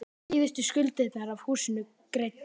Síðustu skuldirnar af húsinu greiddar.